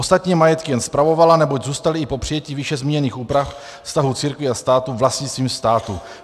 Ostatní majetky jen spravovala, neboť zůstaly i po přijetí výše zmíněných úprav vztahu církví a státu vlastnictvím státu.